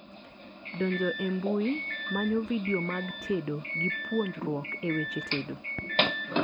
Donjo e mbui, manyo vidio mag tedo gi puonjruok e weche tedo